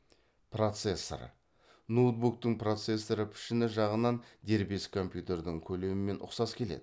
процессор ноутбуктың процессоры пішіні жағынан дербес компьютердің көлемімен ұқсас келеді